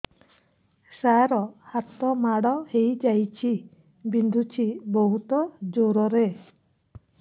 ସାର ହାତ ମାଡ଼ ହେଇଯାଇଛି ବିନ୍ଧୁଛି ବହୁତ ଜୋରରେ